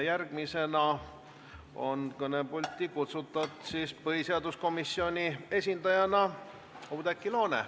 Järgmisena on kõnepulti kutsutud põhiseaduskomisjoni esindajana Oudekki Loone.